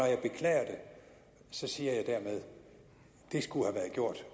siger jeg dermed at det skulle have været gjort